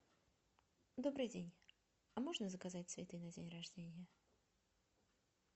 добрый день а можно заказать цветы на день рождения